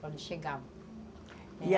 Quando chegavam.